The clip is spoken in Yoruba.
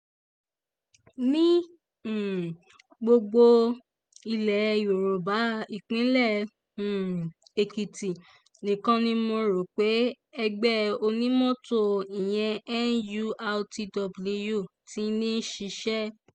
ní um gbogbo ilẹ̀ yorùbá ìpínlẹ̀ um èkìtì nìkan ni mo rò pé ẹgbẹ́ onímọ́tò ìyẹn nurtw ti ń ṣiṣẹ́